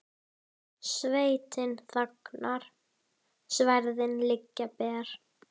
Sveitin þagnar, sverðin liggja ber.